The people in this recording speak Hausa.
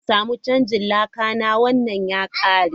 Zan samu canjin laka na, wannan ya karye.